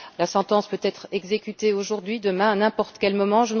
La sentence peut être exécutée aujourd'hui, demain, à n'importe quel moment.